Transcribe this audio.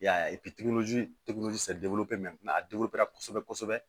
I y'a ye a kosɛbɛ kosɛbɛ